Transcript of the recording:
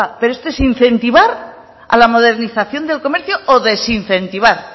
pero esto es incentivar a la modernización del comercio o desincentivar